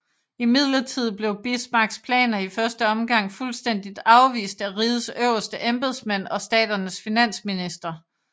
Imidlertid blev Bismarcks planer i første omgang fuldstændig afvist af rigets øverste embedsmænd og staternes finansministre